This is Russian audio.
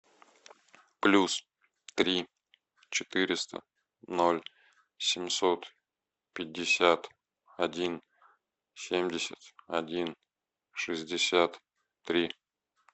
плюс три четыреста ноль семьсот пятьдесят один семьдесят один шестьдесят три